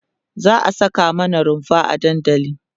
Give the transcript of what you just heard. za'a Saka mana runfa a dandali